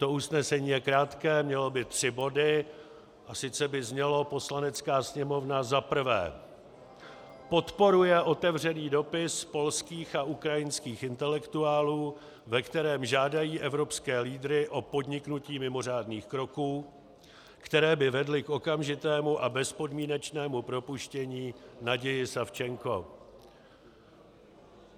To usnesení je krátké, mělo by tři body a sice by znělo: Poslanecká sněmovna za prvé podporuje otevřený dopis polských a ukrajinských intelektuálů, ve kterém žádají evropské lídry o podniknutí mimořádných kroků, které by vedly k okamžitému a bezpodmínečnému propuštění Nadiji Savchenko...